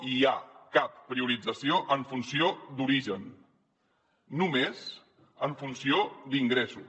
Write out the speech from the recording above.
no hi ha cap priorització en funció d’origen només en funció d’ingressos